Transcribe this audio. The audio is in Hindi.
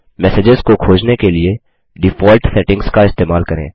मैसेजेस को खोजने के लिए डिफॉल्ट सेटिंग्स का इस्तेमाल करें